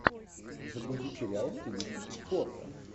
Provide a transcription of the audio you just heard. загрузи сериал в стилистике спорта